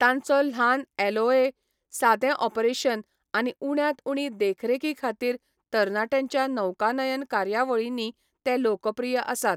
तांचो ल्हान एलओए, सादें ऑपरेशन आनी उण्यांत उणी देखरेखी खातीर तरणाट्यांच्या नौकानयन कार्यावळींनी ते लोकप्रिय आसात.